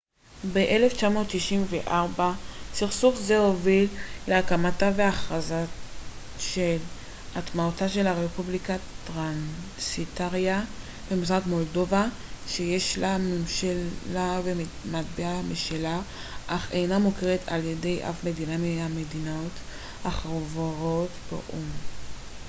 ב-1994 סכסוך זה הוביל להקמתה והכרזה על עצמאותה של רפובליקת טרנסניסטריה במזרח מולדובה שיש לה ממשלה ומטבע משלה אך אינה מוכרת על ידי אף מדינה מהמדינות החברות באו ם